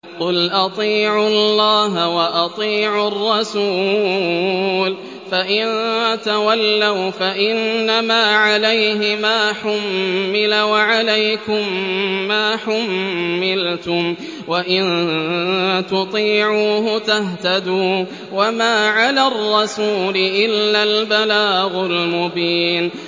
قُلْ أَطِيعُوا اللَّهَ وَأَطِيعُوا الرَّسُولَ ۖ فَإِن تَوَلَّوْا فَإِنَّمَا عَلَيْهِ مَا حُمِّلَ وَعَلَيْكُم مَّا حُمِّلْتُمْ ۖ وَإِن تُطِيعُوهُ تَهْتَدُوا ۚ وَمَا عَلَى الرَّسُولِ إِلَّا الْبَلَاغُ الْمُبِينُ